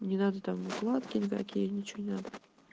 не надо там укладки никакие ничего не надо